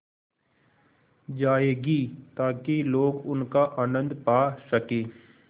जाएगी ताकि लोग उनका आनन्द पा सकें